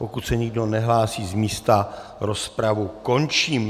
Pokud se nikdo nehlásí z místa, rozpravu končím.